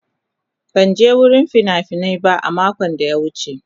Ban je wurin fina-finai ba a makon da ya wuce.